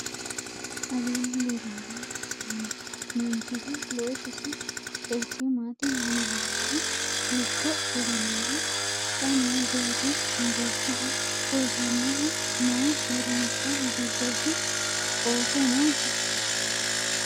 aleenni leellanno manchihu loosisi qeechi maati? mama heeranno? hiikko ilamino? xa noo deerri mageeshiho? loosannohuno mayi uurrinsha giddoti? ooso noosi?